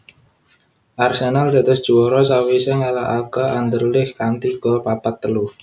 Arsenal dados juwara sawisé ngalahaké Anderlecht kanthi gol papat telu